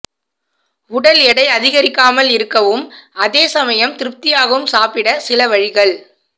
உடல் எடை அதிகரிக்காமல் இருக்கவும் அதேசமயம் திருப்தியாகவும் சாப்பிட சில வழிகள்